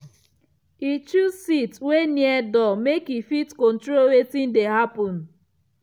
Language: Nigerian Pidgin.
e choose seat wey near door make e fit control wetin dey happen.